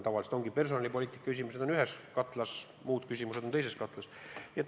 Tavaliselt on personalipoliitika küsimused ühes katlas ja muud küsimused teises katlas.